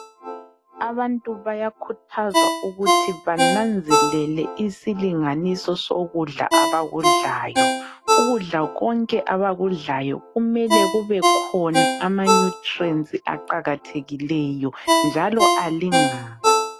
Abantu bayakhuthazwa ukuthi bananzelele isilinganiso sokudla abakudlayo. Ukudla konke abakudlayo kumele kubekhona amanutrients aqakathekileyo njalo alingane.